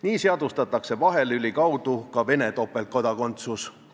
Nii seadustatakse vahelüli kaudu ka Vene topeltkodakondsus.